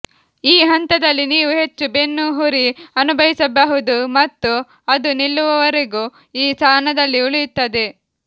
ಈ ಹಂತದಲ್ಲಿ ನೀವು ಹೆಚ್ಚು ಬೆನ್ನುಹುರಿ ಅನುಭವಿಸಬಹುದು ಮತ್ತು ಅದು ನಿಲ್ಲುವವರೆಗೂ ಈ ಸ್ಥಾನದಲ್ಲಿ ಉಳಿಯುತ್ತದೆ